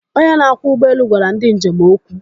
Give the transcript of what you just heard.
Onye na-akwọ ụgbọelu gwara ndi njem okwu.